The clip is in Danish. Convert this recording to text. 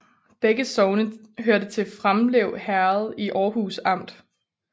Begge sogne hørte til Framlev Herred i Aarhus Amt